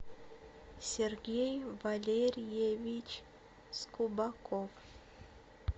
сергей валерьевич скубаков